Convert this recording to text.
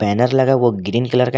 Banner लगा वो green colour का है।